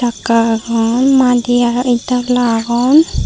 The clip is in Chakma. sakka agon madi agey ed dola agon.